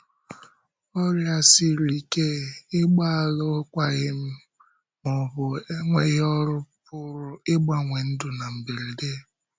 Ọrịa siri ike, ịgba alụkwaghịm, ma ọ bụ enweghị ọrụ pụrụ ịgbanwe ndụ na mberede.